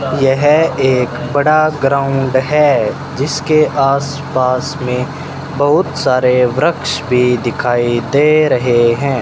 यह एक बड़ा ग्राउंड है जिसके आसपास में बहुत सारे वृक्ष भी दिखाई दे रहे हैं।